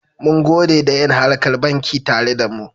Mungode da yin harkar banki tare da mu.